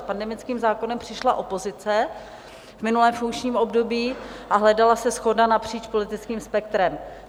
S pandemickým zákonem přišla opozice v minulém funkčním období a hledala se shoda napříč politickým spektrem.